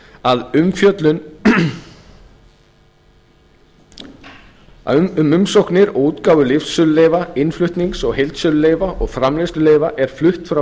að umfjöllun um umsóknir og útgáfu lyfsöluleyfa innflutnings og heildsöluleyfa og framleiðsluleyfa er flutt frá